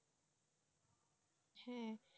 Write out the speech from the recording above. হ্যাঁ